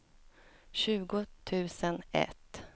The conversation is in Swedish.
tjugo tusen ett